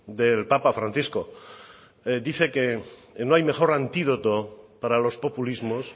del papa francisco dice que no hay mejor antídoto para los populismos